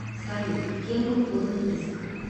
салют кем был подан иск